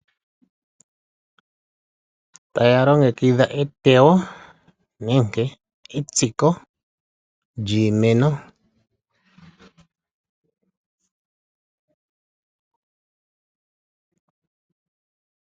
Taya longidha eteyo nenge etsiko lyiimeno.